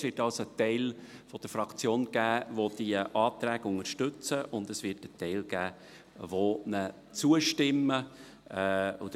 Es wird also einen Teil der Fraktion geben, der die Anträge unterstützt, und es wird einen Teil geben, der sie ablehnt.